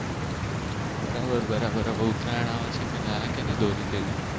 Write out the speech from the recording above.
બરાબર બરાબર હવે ઉતરાયણ આવે છે કઈ લય કે નહિ દોરી કે એવું